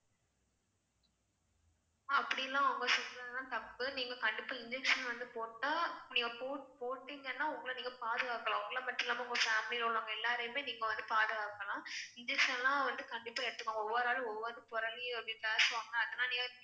அப்படிலாம் அவங்க சொல்றதெல்லாம் தப்பு நீங்க கண்டிப்பா injection வந்து போட்டா, நீங்க போட்டீங்கன்னா உங்கள நீங்க பாதுகாக்கலாம் உங்கள மட்டும் இல்லாம உங்க family ல உள்ளவங்க எல்லாரையும் நீங்க பாதுகாக்கலாம் injection லாம் வந்து கண்டிப்பா எடுத்துக்கோங்க ஒவ்வொரு ஆள் ஒவ்வொரு புரளி